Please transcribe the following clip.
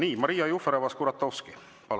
Nii, Maria Jufereva‑Skuratovski, palun!